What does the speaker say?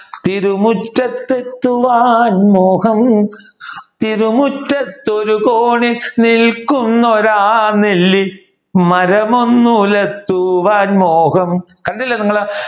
തിരുമുറ്റത്ത് എത്തുവാൻ മോഹം തിരുമുറ്റത്ത് ഒരു കോണിൽ നിൽക്കുന്നൊരാനെല്ലി മരമൊന്നുകുലക്കുവാൻ മോഹം കണ്ടില്ലേ നിങ്ങളു